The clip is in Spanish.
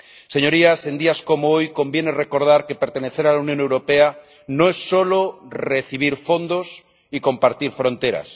Señorías, en días como hoy conviene recordar que pertenecer a la Unión Europea no es solo recibir fondos y compartir fronteras.